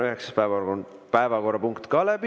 Üheksas päevakorrapunkt on ka läbi.